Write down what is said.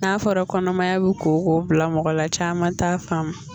N'a fɔra kɔnɔmaya bɛ koko bila mɔgɔla caman t'a faamun.